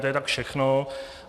To je tak všechno.